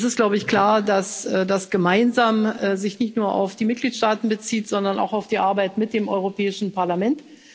Es ist, glaube ich, klar, dass das gemeinsam sich nicht nur auf die Mitgliedstaaten bezieht, sondern auch auf die Arbeit mit dem Europäischen Parlament.